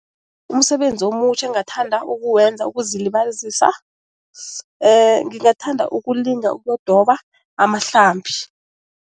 Umsebenzi omutjha engathanda ukuwenza ukuzilibazisa ngingathanda ukulinga ukudoba amahlambi.